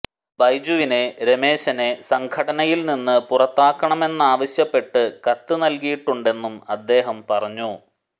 ബിജുവിനെ രമേശിനെ സംഘടനയില് നിന്നു പുറത്താക്കണമെന്നാവശ്യപ്പെട്ടു കത്തു നല്കിയിട്ടുണ്ടെന്നും അദ്ദേഹം പറഞ്ഞു